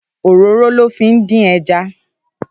Óróró lò fi ndin èjà